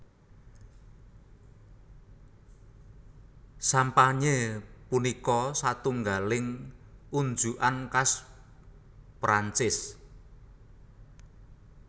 Sampanye punika satungaling unjukan khas Prancis